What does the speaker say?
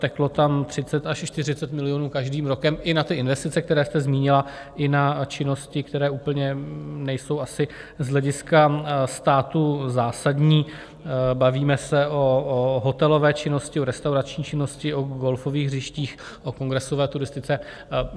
Teklo tam 30 až 40 milionů každým rokem, i na ty investice, které jste zmínila, i na činnosti, které úplně nejsou asi z hlediska státu zásadní - bavíme se o hotelové činnosti, o restaurační činnosti, o golfových hřištích, o kongresové turistice.